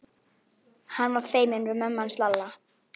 Hann var feiminn við mömmu hans Lalla.